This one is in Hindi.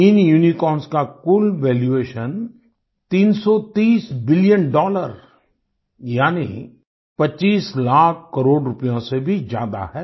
इन यूनिकॉर्न्स का कुल वैल्यूएशन 330 बिलियन डॉलर यानी 25 लाख करोड़ रुपयों से भी ज्यादा है